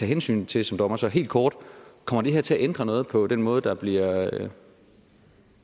hensyn til som dommer så helt kort kommer det her til at ændre noget på den måde der bliver